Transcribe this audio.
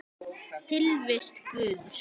Tilvist Guðs